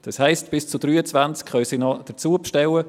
Das heisst, Bernmobil kann noch bis zu 23 weitere Trams bestellen.